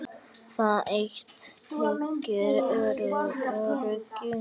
Það eitt tryggir öryggi.